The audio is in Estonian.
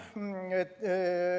Nii.